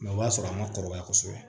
o b'a sɔrɔ an ma kɔrɔbaya kosɛbɛ